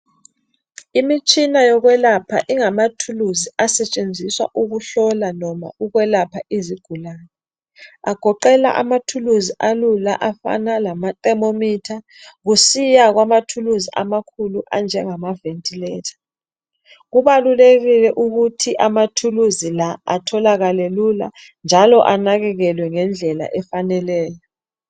Imitshinia yokwelapha ingamathulizi asentshenziswa ukuhlola noma ukwelapha izigulani kugoqela amathuluzi alula afana nama thimomitha kusiya kwamakhulu anjengama vethilatha kubalulekile ukuthi amathuluzi la atholakale lula njalo anakekelwe ngendlela efaneleyo